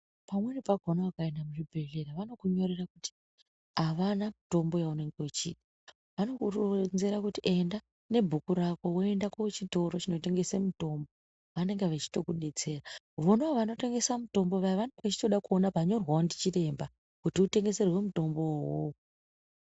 Pamweni pakona ukaenda kuzvibhehleya vanokunyorera kuti avana mutombo yeunenge uchida. Vanokuronzera kuti enda nebhuku rako woenda kuchitoro chinotengesa mitombo vanenge vachitokudetsera. Vonavo vanotengesa mitombo vanege vachitoda kuona panyorwawo ndichiremba kuti utengeserwe mutombowo.